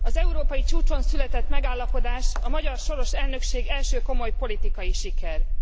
Az európai csúcson született megállapodás a magyar soros elnökség első komoly politikai sikere.